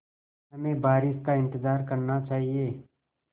हमें बारिश का इंतज़ार करना चाहिए